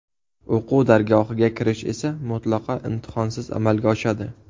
O‘quv dargohiga kirish esa mutlaqo imtihonsiz amalga oshadi.